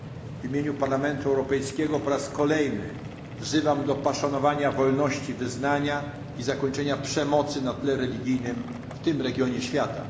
W imieniu Parlamentu Europejskiego po raz kolejny wzywam do poszanowania wolności wyznania i zakończenia przemocy na tle religijnym w tym regionie świata.